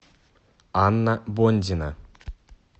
анна бондина